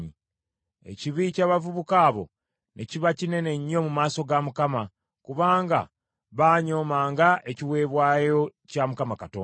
Ekibi ky’abavubuka abo ne kiba kinene nnyo mu maaso ga Mukama , kubanga baanyoomanga ekiweebwayo kya Mukama Katonda.